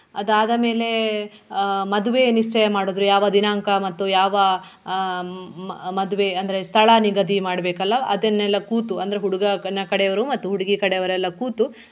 ಅದಾದಮೇಲೆ ಆಹ್ ಮದುವೆ ನಿಶ್ಚಯ ಮಾಡುದ್ರು ಯಾವ ದಿನಾಂಕ ಮತ್ತು ಯಾವ ಆಹ್ ಮ~ ಮದುವೆ ಅಂದ್ರೆ ಸ್ಥಳ ನಿಗದಿ ಮಾಡ್ಬೇಕಲ್ಲ ಅದನ್ನೆಲ್ಲ ಕೂತು ಅಂದ್ರೆ ಹುಡುಗನ ಕಡೆಯವರು ಮತ್ತು ಹುಡುಗಿ ಕಡೆಯವರೆಲ್ಲ ಕೂತು.